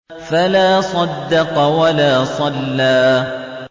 فَلَا صَدَّقَ وَلَا صَلَّىٰ